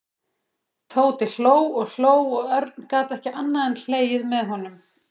Tóti hló og hló og Örn gat ekki annað en hlegið með honum.